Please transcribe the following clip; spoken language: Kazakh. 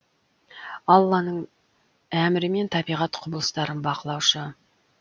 алланың әмірімен табиғат құбылыстарын бақылаушы